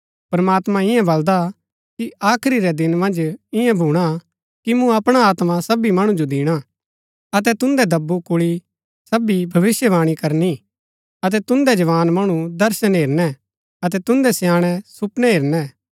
प्रमात्मां ईयां बलदा कि आखरी रै दिन मन्ज ईयां भूणा कि मूँ अपणा आत्मा सबी मणु जो दिणा अतै तुन्दै दब्बु कुल्ळी सबी भविष्‍यवाणी करनी अतै तुन्दै जवान मणु दर्शन हेरनै अतै तुन्दै स्याणै सुपनै हेरनै